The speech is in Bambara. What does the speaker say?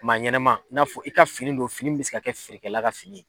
Maa ɲɛnɛma n'a fɔ i ka fini don fini be se ka kɛ feerekɛla ka fini ye